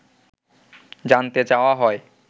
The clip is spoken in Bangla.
জানতে চাওয়া হয়